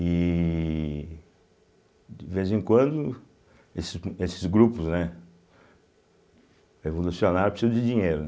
E, de vez em quando, esse esses grupos, né, revolucionários precisam de dinheiro, né.